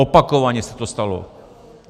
Opakovaně se to stalo.